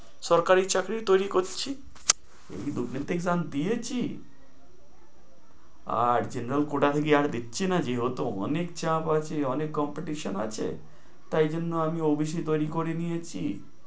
সরকারি চাকরি তৈরী করছি। দু-তিনটে exam দিয়েছি। আর general quota থেকে আর নিচ্ছে না যেহেতু অনেক চাপ আছে, অনেক কম্পিটিশন আছে তাই এজন্য আমি অফিসেই তৈরী করে নিয়েছি।